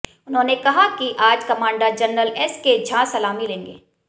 उन्होंने कहा कि आज कमांडर जनरल एसके झां सलामी लेंगे